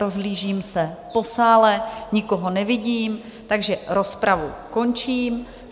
Rozhlížím se po sále, nikoho nevidím, takže rozpravu končím.